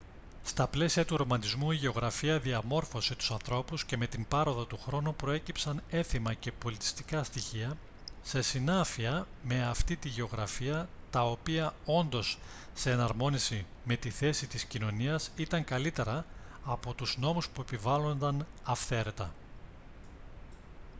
στα πλαίσια του ρομαντισμού η γεωγραφία διαμόρφωσε τους ανθρώπους και με την πάροδο του χρόνου προέκυψαν έθιμα και πολιτιστικά στοιχεία σε συνάφεια με αυτή τη γεωγραφία τα οποία όντας σε εναρμόνιση με τη θέση της κοινωνίας ήταν καλύτερα από τους νόμους που επιβάλλονταν αυθαίρετα